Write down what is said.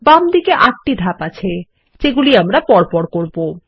বামদিকে ৮ টি ধাপ আছে যেগুলি আমরা পরপর করব